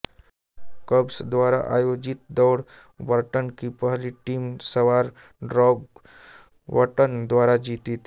कब्र्स द्वारा आयोजित दौड़ बर्टन की पहली टीम सवार डौग बटन द्वारा जीती थी